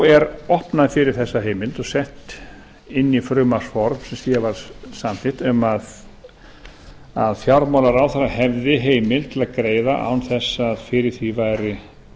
er opnað fyrir þessa heimild og sett inn í frumvarpsform sem hér var samþykkt um að fjármálaráðherra hefði heimild til að greiða án þess að fyrir því væri